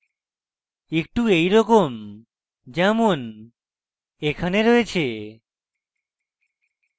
একটু এইরকম যেমন এখানে রয়েছে